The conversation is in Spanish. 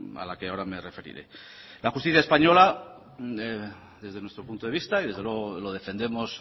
a la que ahora me referiré la justicia española desde nuestro punto de vista y desde luego lo defendemos